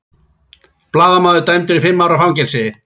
Blaðamaður dæmdur í fimm ára fangelsi